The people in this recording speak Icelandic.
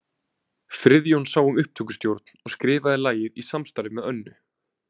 Friðjón sá um upptökustjórn og skrifaði lagið í samstarfi með Önnu.